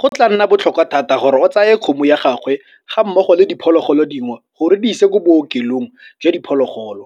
Go tla nna botlhokwa thata gore o tsaye kgomo ya gagwe ga mmogo le diphologolo dingwe gore di ise ko bookelong jwa diphologolo.